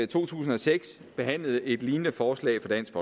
to tusind og seks behandlet et lignende forslag fra dansk